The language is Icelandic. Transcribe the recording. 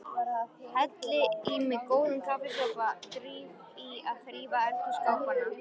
Helli í mig góðum kaffisopa, dríf í að þrífa eldhússkápana.